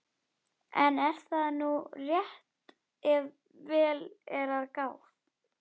En er það nú rétt ef vel er að gáð?